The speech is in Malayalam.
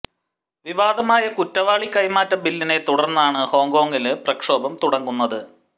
വിവാദമായ കുറ്റവാളി കൈമാറ്റ ബില്ലിനെ തുടര്ന്നാണ് ഹോങ്കോങില് പ്രക്ഷോഭം തുടങ്ങുന്നത്